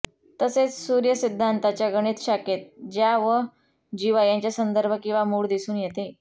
तसेच सूर्यसिद्धान्ताच्या गणित शाखेत ज्या व जीवा यांचे संदर्भ किंवा मूळ दिसून येते